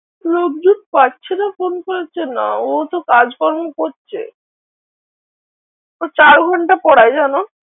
লোকজন পাচ্ছে না ফোন করছে না ও তো কাজকর্ম করছে। ও চার ঘন্টা পড়ায় জানো?